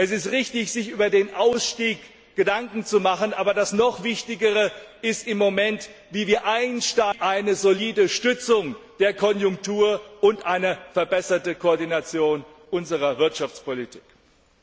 Es ist richtig, sich über den Ausstieg Gedanken zu machen, aber noch wichtiger ist im Moment, wie wir in eine solide Stützung der Konjunktur und eine verbesserte Koordination unserer Wirtschaftspolitik einsteigen.